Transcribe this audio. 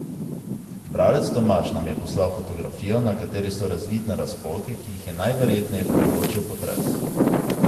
Bralec Tomaž nam je poslal fotografijo, na kateri so razvidne razpoke, ki jih je najverjetneje povzročil potres.